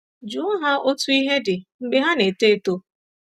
Jụọ ha otú ihe dị mgbe ha na-eto eto.